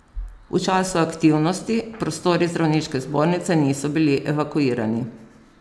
V času aktivnosti, prostori zdravniške zbornice niso bili evakuirani.